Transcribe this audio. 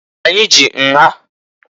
Anyị ji nha.